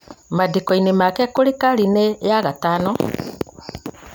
maandĩko-inĩ make kũrĩ karine ya gatano